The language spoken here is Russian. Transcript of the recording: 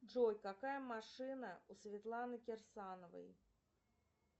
джой какая машина у светланы кирсановой